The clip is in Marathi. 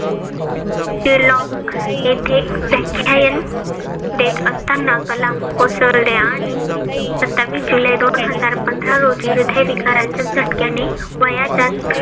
शिलॉंग येथे व्याख्यान देत असताना कलाम कोसळले आणि सत्तावीस जुलै दोन हजार पंधरा रोजी हृद्य विकाराच्या झटक्याने वयाच्या